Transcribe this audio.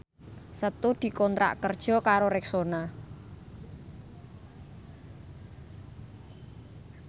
Setu dikontrak kerja karo Rexona